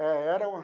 Era uma.